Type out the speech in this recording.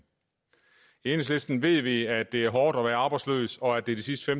i enhedslisten ved vi at det er hårdt at være arbejdsløs og at det de sidste